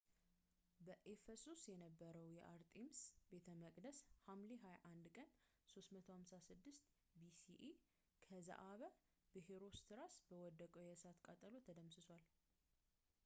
በኤፈሶስ የነበረው የአርጤምስ ቤተ መቅደስ ሐምሌ 21 ቀን 356 bce ከዘአበ በሄሮስትራስ በወሰደው የእሳት ቃጠሎ ተደምስሷል